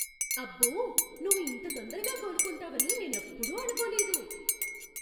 అబ్బో! నువ్వు ఇంత తొందరగా కోలుకుంటావని నేనెప్పుడూ అనుకోలేదు.